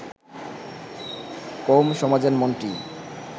কৌম-সমাজের মনটি